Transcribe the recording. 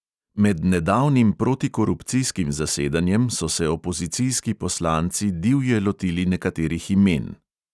Med nedavnim protikurupcijskim zasedanjem so se opozicijski poslanci divje lotili nekaterih imen.